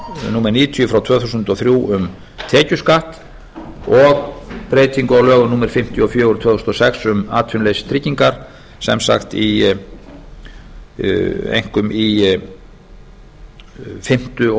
númer níutíu frá tvö þúsund og þrjú um tekjuskatt og breytingu á lögum númer fimmtíu og fjögur tvö þúsund og sex um atvinnuleysistryggingar sem sagt í fimmta og